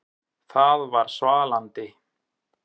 Það var svalandi.